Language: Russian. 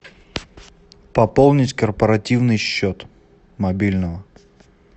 пополнить корпоративный счет мобильного